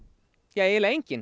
eiginlega enginn